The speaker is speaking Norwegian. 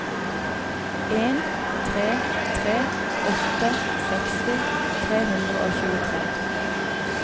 en tre tre åtte seksti tre hundre og tjuetre